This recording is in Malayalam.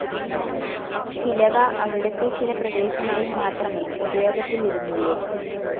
ചിലവ അവിടത്തെ ചില പ്രദേശങ്ങളിൽ മാത്രമേ ഉപയോഗത്തിലിരുന്നുള്ളു.